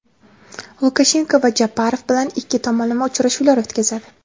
Lukashenko va Japarov bilan ikki tomonlama uchrashuvlar o‘tkazadi.